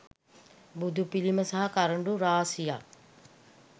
බුදුපිළිම සහ කරඬු රාශියක්